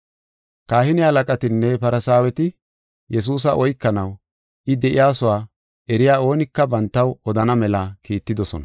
Kahine halaqatinne Farsaaweti Yesuusa oykanaw, I de7iyasuwa eriya oonika bantaw odana mela kiittidosona.